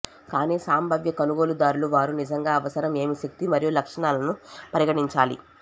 కానీ సంభావ్య కొనుగోలుదారులు వారు నిజంగా అవసరం ఏమి శక్తి మరియు లక్షణాలను పరిగణించాలి